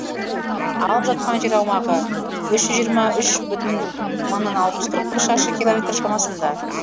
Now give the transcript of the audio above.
алып жатқан жер аумағы үш жүз жиырма үш бүтін мыңнан алты жүз қырық бір шаршы километр шамасында